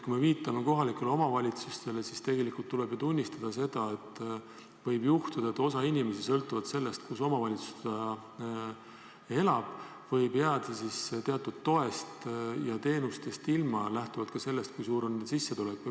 Kui viitame kohalikele omavalitsustele, siis tegelikult tuleb ju tunnistada, et võib juhtuda nii, et osa inimesi jääb sõltuvalt sellest, kus omavalitsuses nad elavad, teatud toest ja teenustest ilma – lähtuvalt ka sellest, kui suur on nende sissetulek.